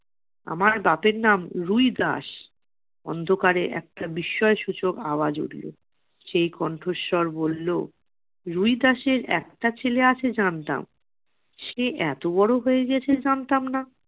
আমার বাপের নাম রুই দাস। অন্ধকারে একটা বিস্ময়সূচক আওয়াজ উঠলো, সেই কণ্ঠস্বর বললো রুই দাসের একটা ছেলে আছে জানতাম, সে এতো বড়ো হয়ে গেছে জানতাম না।